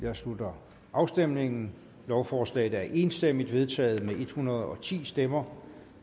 jeg slutter afstemningen lovforslaget er enstemmigt vedtaget med en hundrede og ti stemmer